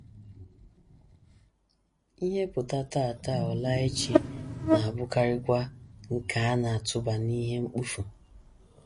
Ihe ‘ pụta ’ taa, taa, ọ ‘ laa ’ echi, na - abụkarịkwa nke a na - atụba n’ihe mkpofu.